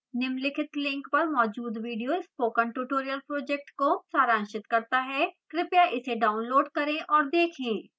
निम्नलिखित link पर मौजूद video spoken tutorial project को सारांशित करता है कृपया इसे डाउनलोड करें और देखें